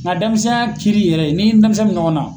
Nka denmisɛnya kiri yɛrɛ n'i ni denmisɛnni bɛ ɲɔgɔn na.